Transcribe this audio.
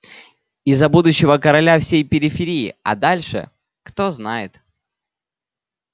и за будущего короля всей периферии а дальше кто знает